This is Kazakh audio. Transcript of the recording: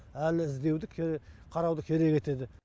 әлі іздеуді қарауды керек етеді